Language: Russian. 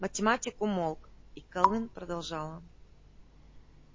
математик умолк и кэлвин продолжала